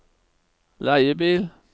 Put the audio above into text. leiebil